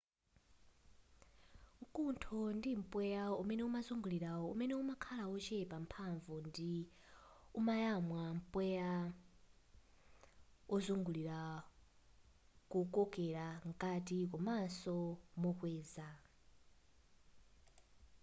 nkuntho ndi mpweya umene umazungulira umene umakhala wochepa mphanvu ndipo umayamwa mpweya ozungulira kuukokela mkati komanso mokweza